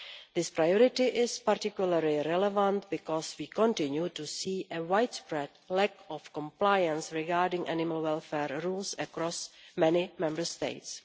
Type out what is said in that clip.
This priority is particularly relevant because we continue to see a widespread lack of compliance regarding animal welfare rules across many Member States.